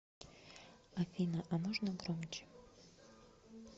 афина а можно громче